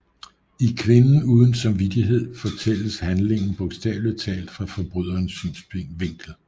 I Kvinden uden samvittighed fortælles handlingen bogstaveligt talt fra forbryderens synsvinkel